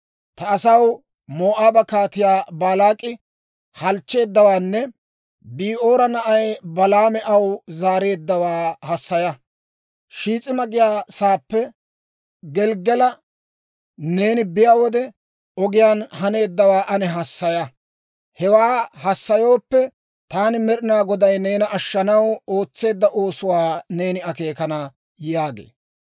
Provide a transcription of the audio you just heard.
Ta asaw, Moo'aaba Kaatiyaa Baalaak'i halchcheeddawaanne Bi'oora na'ay Balaami aw zaareeddawaa hassaya. Shiis'ima giyaa saappe Gelggali neeni biyaa wode, ogiyaan haneeddawaa ane hassaya. Hewaa hassayooppe, taani Med'inaa Goday neena ashshanaw ootseedda oosuwaa neeni akeekana» yaagee.